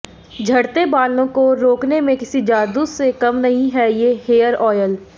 झड़ते बालों को रोकने में किसी जादू से कम नहीं है ये हेयर ऑयल